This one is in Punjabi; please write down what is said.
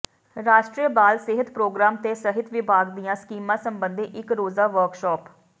ਰਾਸ਼ਟਰੀ ਬਾਲ ਸਿਹਤ ਪ੍ਰੋਗਰਾਮ ਤੇ ਸਿਹਤ ਵਿਭਾਗ ਦੀਆਂ ਸਕੀਮਾਂ ਸਬੰਧੀ ਇਕ ਰੋਜ਼ਾ ਵਰਕਸ਼ਾਪ